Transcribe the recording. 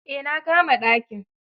Eh na kama dakin.